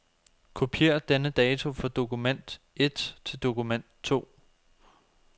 Kopier denne dato fra dokument et til dokument to.